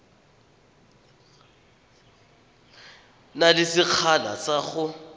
na le sekgala sa go